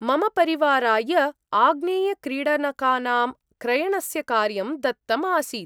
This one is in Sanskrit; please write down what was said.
मम परिवाराय आग्नेयक्रीडनकानां क्रयणस्य कार्यं दत्तम् आसीत् ।